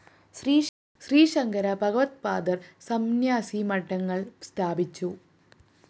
ശ്രീശങ്കര ഭഗവദ്പാദര്‍ സംന്യാസി മഠങ്ങള്‍ സ്ഥാപിച്ചു